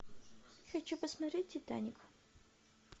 хочу посмотреть титаник